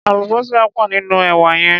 Àlùbósà pò nínú èwà yẹn.